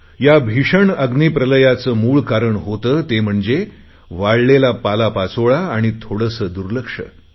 या भीषण अग्नी प्रलयाचे मूळ कारण होते ते म्हणजे वाळलेला पालापाचोळा आणि थोडेसे दुर्लक्ष